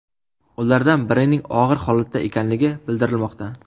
Ulardan birining og‘ir holatda ekanligi bildirilmoqda.